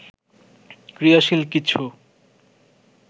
ক্রিয়াশীল কিছু